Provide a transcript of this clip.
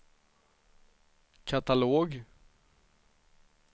katalog